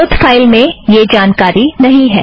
स्रोत फ़ाइल में यह जानकारी नहीं है